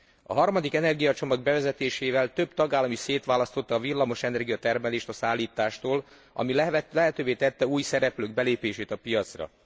A harmadik energiacsomag bevezetésével több tagállam is szétválasztotta a villamosenergia termelést a szállítástól, ami lehetővé tette új szereplők belépését a piacra.